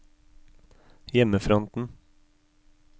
hjemmefronten